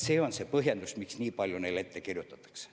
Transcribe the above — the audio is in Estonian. See on põhjendus, miks nii palju ette kirjutatakse.